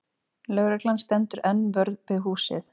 Lögreglan stendur enn vörð við húsið